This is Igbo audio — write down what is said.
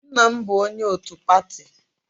Nna m bụ onye otu pati.